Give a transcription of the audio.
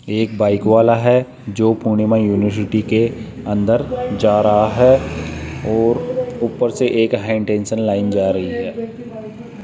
एक बाइक वाला है जो पूर्णिमा यूनिवर्सिटी के अंदर जा रहा है और ऊपर से एक हाईटेंशन लाइन जा रही है।